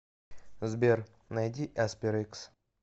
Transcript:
сбер найди эспер икс